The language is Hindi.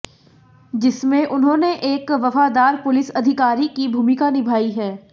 जिसमें उन्होंने एक वफादार पुलिस अधिकारी की भूमिका निभाई है